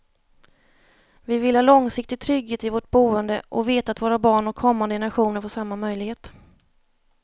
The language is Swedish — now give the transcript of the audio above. Vi vill ha långsiktig trygghet i vårt boende och veta att våra barn och kommande generationer får samma möjlighet.